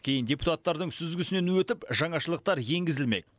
кейін депутаттардың сүзгісінен өтіп жаңашылдықтар енгізілмек